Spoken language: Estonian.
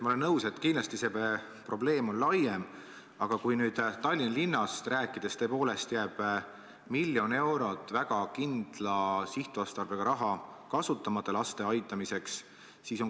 Ma olen nõus, et kindlasti see probleem on laiem, aga kui nüüd Tallinna linnast rääkida, siis tõepoolest jääb miljon eurot väga kindla sihtotstarbega raha laste aitamiseks kasutamata.